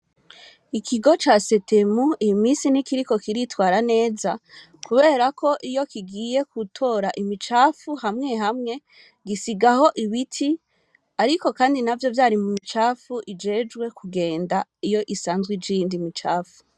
Ikigo ca SETEMU iyi misi ntikiriko kiritwara neza ,kubera ko iyo kigiye gutora imicafu hamwe hamwe , gisigaho ibiti ariko Kandi navyo vyari mumicafufu ijwejwe kungenda iyo isanzw’ija iyindi micafu.